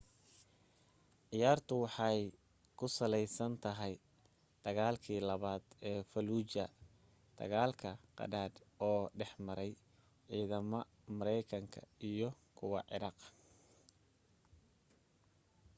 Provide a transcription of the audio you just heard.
ciyaartu waxay ku sallaysan tahay dagaalkii labaad ee falluuja dagaal qadhaadh oo dhexmaray ciidamada maraykanka iyo kuwa ciraaq